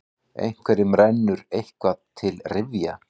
Einhverjum rennur eitthvað til rifja